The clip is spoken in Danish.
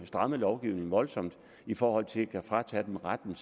strammet lovgivningen voldsomt i forhold til at kunne fratage dem retten